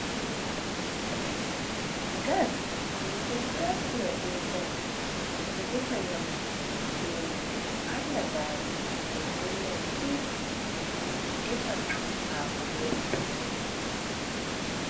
Gas. Min ɗon naftira be gas. Min ɗo defa nyamdu beman, min ɗon harna gaari, min dollan tii, min min defan haako be man.